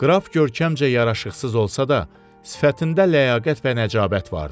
Qraf görkəmcə yaraşıqsız olsa da, sifətində ləyaqət və nəcəbət vardı.